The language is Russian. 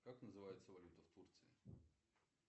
как называется валюта в турции